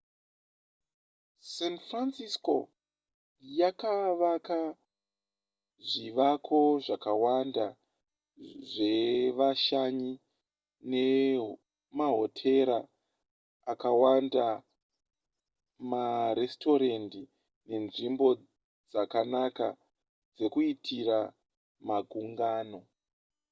san francisco yakavaka zvivako zvakawanda zvevashanyi nemahotera akawanda maresitorendi nenzvimbo dzakanaka dzekuitira magungano